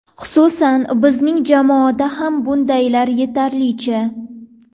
Xususan bizning jamoada ham bundaylar yetarlicha.